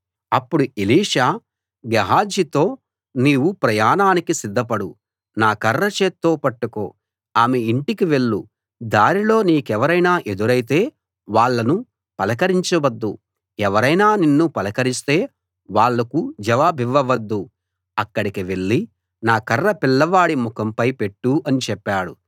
అప్పుడు ఎలీషా గేహజీతో నీవు ప్రయాణానికి సిద్ధపడు నా కర్ర చేత్తో పట్టుకో ఆమె ఇంటికి వెళ్ళు దారిలో నీకెవరైనా ఎదురైతే వాళ్ళను పలకరించ వద్దు ఎవరైనా నిన్ను పలకరిస్తే వాళ్ళకు జవాబివ్వవద్దు అక్కడికి వెళ్ళి నా కర్ర పిల్లవాడి ముఖంపై పెట్టు అని చెప్పాడు